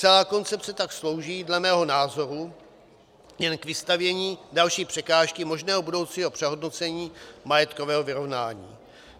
Celá koncepce tak slouží dle mého názoru jen k vystavění další překážky možného budoucího přehodnocení majetkového vyrovnání.